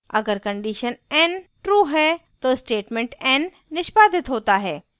अगर condition n true है तो statement n निष्पादित होता है